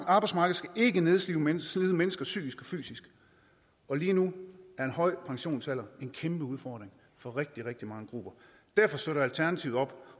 arbejdsmarked skal ikke nedslide mennesker mennesker psykisk og fysisk og lige nu er en høj pensionsalder en kæmpe udfordring for rigtig rigtig mange grupper derfor støtter alternativet op